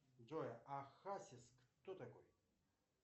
джой а хасис кто такой